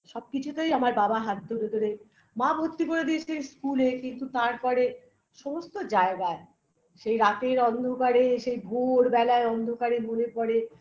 সব কিছুতেই আমার বাবা হাত ধরে ধরে মা ভর্তি করে দিয়েছে school -এ কিন্তু তারপরে সমস্ত জায়গায় সেই রাতের অন্ধকারে সেই ভোর বেলায় অন্ধকারে মনে পড়ে